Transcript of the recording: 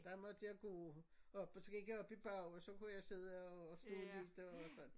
Der måtte jeg gå op og så gik jeg op i bag og så kunne jeg sidde og stå lidt og sådan